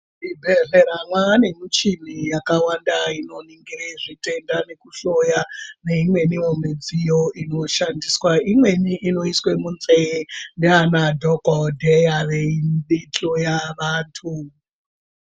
Muzvibhedhlera mane michini yakawanda inoningire zvitenda nekuhloya neimweniwo midziyo inoshandiswa imweni inoiswe munzee neanadhokodheya veihloya antu.